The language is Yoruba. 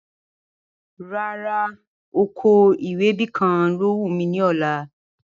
Rárá, oko ewébẹ̀ kàn ló wù mí ní ọ̀la